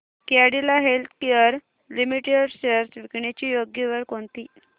Cadila Healthcare Limited shares विकण्याची योग्य वेळ कोणती